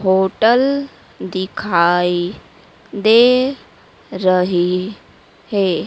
Hotel दिखाई दे रही है।